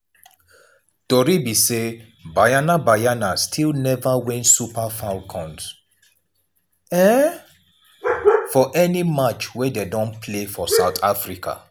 tori be say banyana banyana still neva win super falcons for any match wey dem don play for south africa.